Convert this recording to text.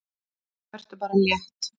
Vertu bara létt!